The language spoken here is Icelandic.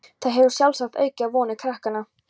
Það hefur sjálfsagt aukið á vonir krakkanna.